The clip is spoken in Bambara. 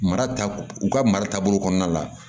Mara ta u ka mara taabolo kɔnɔna la